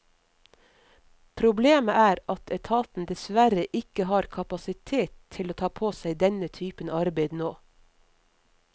Problemet er at etaten dessverre ikke har kapasitet til å ta på seg denne typen arbeid nå.